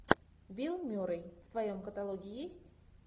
билл мюррей в твоем каталоге есть